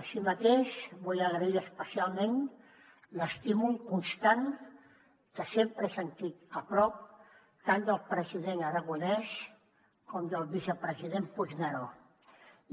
així mateix vull agrair especialment l’estímul constant que sempre he sentit a prop tant del president aragonès com del vicepresident puigneró